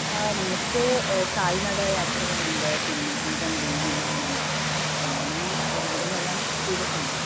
ആഹ് നമുക്ക് കാൽനട യാത്രകൾ ഉണ്ട് പിന്നെ തീവണ്ടീ വിമാനം അഞ്ചിന് ഒരു വിധം എല്ലാം ചെയ്തിട്ടുണ്ട്